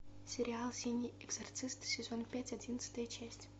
сериал синий экзорцист сезон пять одиннадцатая часть